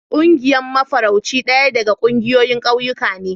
Ƙungiyar mafarauci daya daga ƙungiyoyin ƙauyuka ne.